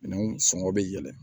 Minɛnw sɔngɔ bɛ yɛlɛn